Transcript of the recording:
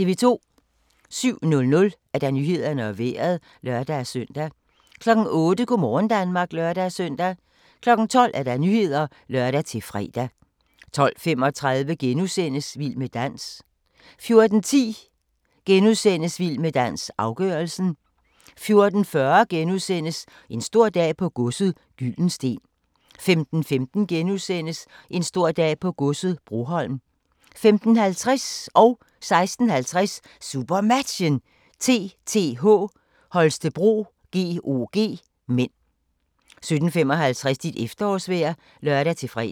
07:00: Nyhederne og Vejret (lør-søn) 08:00: Go' morgen Danmark (lør-søn) 12:00: Nyhederne (lør-fre) 12:35: Vild med dans * 14:10: Vild med dans - afgørelsen 14:40: En stor dag på godset - Gyldensteen * 15:15: En stor dag på godset - Broholm * 15:50: SuperMatchen: TTH Holstebro-GOG (m) 16:50: SuperMatchen: TTH Holstebro-GOG (m) 17:55: Dit efterårsvejr (lør-fre)